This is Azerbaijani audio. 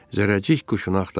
Zərrəcik quşunu axtardı.